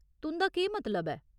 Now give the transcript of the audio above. तुं'दा केह् मतलब ऐ ?